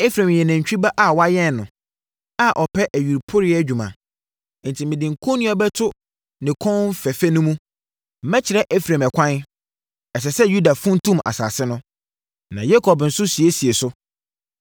Efraim yɛ nantwie ba a wɔayɛn no, a ɔpɛ ayuporeeɛ adwuma, enti mede kɔnnua bɛto ne kɔn fɛfɛ mu. Mɛkyerɛ Efraim ɛkwan, ɛsɛ sɛ Yuda funtum asase no, na Yakob nso siesie so.